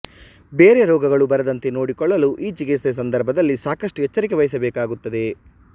ಬೇರೆ ರೋಗಗಳು ಬರದಂತೆ ನೋಡಿಕೊಳ್ಳಲು ಈ ಚಿಕಿತ್ಸೆ ಸಂದರ್ಭದಲ್ಲಿ ಸಾಕಷ್ಟು ಎಚ್ಚರಿಕೆ ವಹಿಸಬೇಕಾಗುತ್ತದ